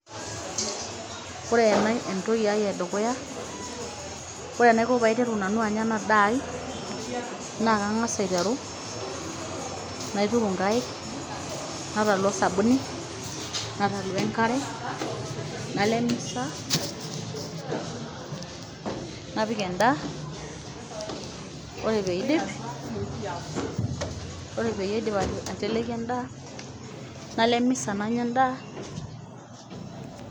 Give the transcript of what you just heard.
Ore ena entoki ai edukuya ore enaiko peyie aiteru nanu anya ena daa ai, naa kangas aiteru naituku ingaik, natolu sabuni, natalu enkare, nalo emisa, napik endaa ore pee aidim aiteleki endaa nalo emisa nanya endaa.